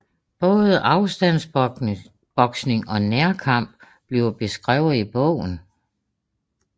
Både afstandsboksing og nærkamp bliver beskrevet i bogen